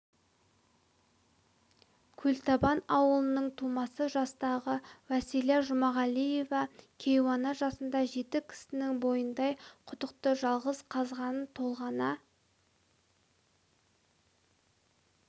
көлтабан ауылының тумасы жастағы уәсила жұмағалиева кейуана жасында жеті кісінің бойындай құдықты жалғыз қазғанын толғана